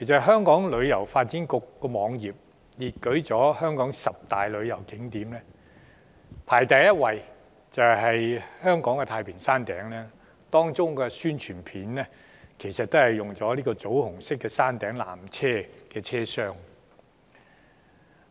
香港旅遊發展局在網頁中列舉了香港十大旅遊景點，排首位的是香港太平山頂，而有關的宣傳片正是展示了棗紅色車廂的山頂纜車，以作推廣。